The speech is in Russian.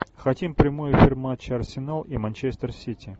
хотим прямой эфир матча арсенал и манчестер сити